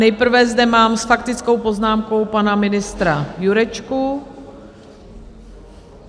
Nejprve zde mám s faktickou poznámkou pana ministra Jurečku.